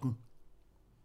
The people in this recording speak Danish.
03:30: Animal Airport (Afs. 13)